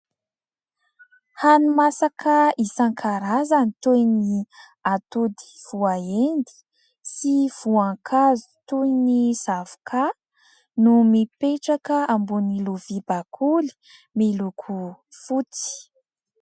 Hani-masaka isan-karazany toy ny atody voaendy sy voankazo toy ny zavoka no mipetraka ambonin'ny lovia bakoly miloko fotsy.